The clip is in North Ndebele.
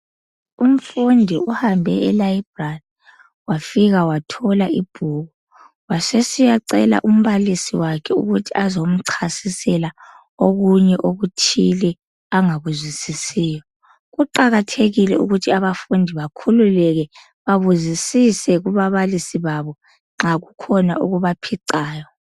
Umfundi uhambe elibrary wafika wathola ibhuku, wasesiyacela umbalisi wakhe ukuthi azomchasisela okunye okuthile angakuzwisisiyo. Kuqakathekile ukuthi bafundi bakhululeke babuzizise kubabalisi babo nxa kukhona okubaphicayo.